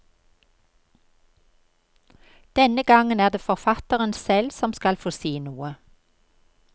Denne gangen er det forfatteren selv som skal få si noe.